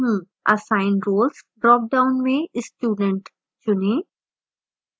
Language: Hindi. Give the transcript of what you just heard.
assign roles dropdown में student चुनें